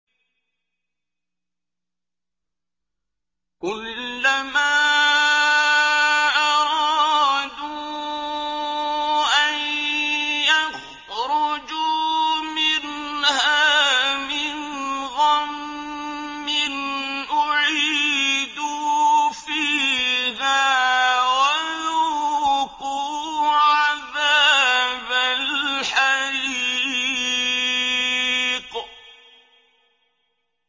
كُلَّمَا أَرَادُوا أَن يَخْرُجُوا مِنْهَا مِنْ غَمٍّ أُعِيدُوا فِيهَا وَذُوقُوا عَذَابَ الْحَرِيقِ